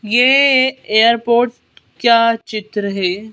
ये एयरपोर्ट का चित्र है।